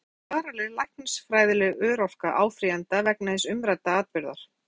Ef ekki, hver er þá varanleg læknisfræðileg örorka áfrýjanda vegna hins umrædda atburðar?